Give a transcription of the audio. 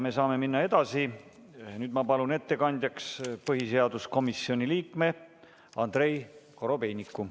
Me saame minna edasi ja ma palun ettekandjaks põhiseaduskomisjoni liikme Andrei Korobeiniku.